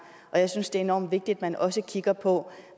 og jeg synes det er enormt vigtigt at man også kigger på